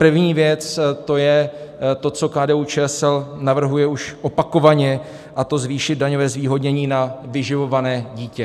První věc, to je to, co KDU-ČSL navrhuje už opakovaně, a to zvýšit daňové zvýhodnění na vyživované dítě.